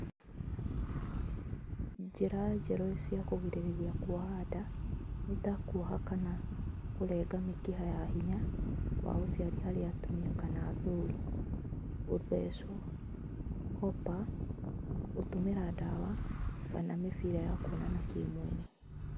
Njĩra njerũ cia kũgirĩrĩria kuoha nda nĩ ta: kuoha kana kũrenga mĩkiha ya hinya wa ũciari harĩ atumia kana athuri, gũthecwo, kopa, gũtũmĩra dawa, kana mĩbira ya kuonana kĩ-mwĩrĩ